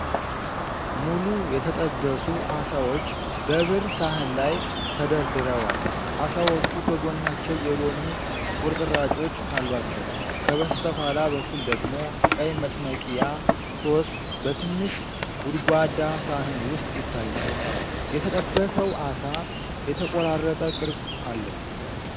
ሙሉ የተጠበሱ ዓሳዎች በብር ሳህን ላይ ተደርድረዋል። ዓሳዎቹ ከጎናቸው የሎሚ ቁርጥራጮች አሏቸው፤ ከበስተኋላ በኩል ደግሞ ቀይ መጥመቂያ (ሶስ) በትንሽ ጎድጓዳ ሳህን ውስጥ ይታያል። የተጠበሰው ዓሳ የተቆራረጠ ቅርጽ አለው።